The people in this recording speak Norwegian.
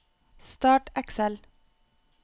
start Excel